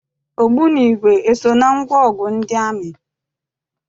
Ogbunigwe eso na ngwaọgụ ndị amị?